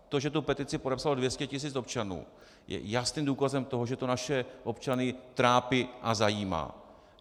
To, že tu petici podepsalo 200 tisíc občanů, je jasným důkazem toho, že to naše občany trápí a zajímá.